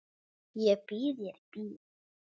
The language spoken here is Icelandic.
Ég býð þér í bíó.